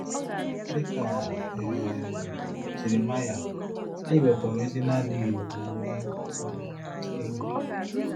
Dị ka um Jeremaịa, anyị nwekwara ozi na-adịghị ewu um ewu.